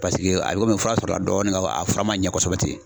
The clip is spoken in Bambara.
Paseke a bɛ komi fura sɔrɔla dɔɔni nga a fura man ɲɛ kosɛbɛ ten .